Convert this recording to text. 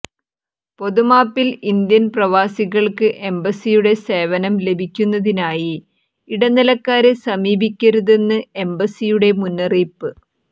പൊതുമാപ്പിൽ Indian പ്രവാസികൾക്ക് എംബസ്സിയുടെ സേവനം ലഭിക്കുന്നതിനായി ഇട നിലക്കാരെ സമീപിക്കരുതെന്ന് എംബസ്സിയുടെ മുന്നറിയിപ്പ്